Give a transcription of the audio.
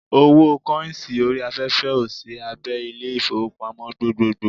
Owó kọ́ìnsì orí afẹ́fẹ́ ò sí abé Ilé-ìfowópamọ́ gbogbogbò